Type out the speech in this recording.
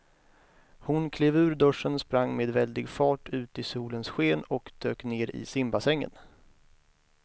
Hon klev ur duschen, sprang med väldig fart ut i solens sken och dök ner i simbassängen.